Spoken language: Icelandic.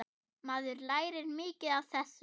Maður lærir mikið af þessu.